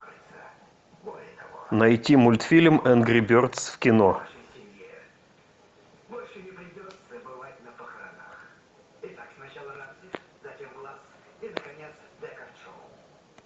найти мультфильм энгри бердс в кино